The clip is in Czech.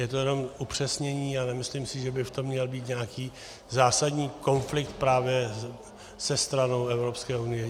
Je to jenom upřesnění a nemyslím si, že by v tom měl být nějaký zásadní konflikt právě se stranou Evropské unie.